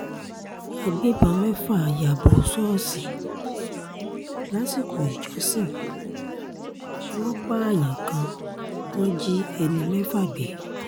àgbẹ̀bọ́n mẹ́fà ya bò ṣọ́ọ̀ṣì lásìkò ìjọsìn wọn pààyàn kan wọ́n jí ẹni mẹ́ta gbé